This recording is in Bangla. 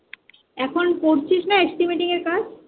এখন করছিস না Estimation এর কাজ?